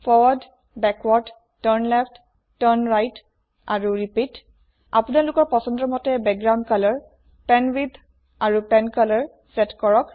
forward backward turn left turn right আৰু repeat আপোনালোকৰ পছন্দ মতে বেকগ্ৰাউণ্ড কলৰ পেনৱিডথ আৰু পেনকলৰ চেট কৰক